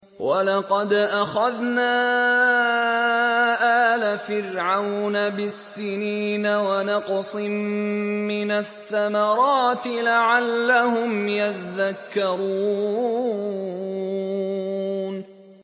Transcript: وَلَقَدْ أَخَذْنَا آلَ فِرْعَوْنَ بِالسِّنِينَ وَنَقْصٍ مِّنَ الثَّمَرَاتِ لَعَلَّهُمْ يَذَّكَّرُونَ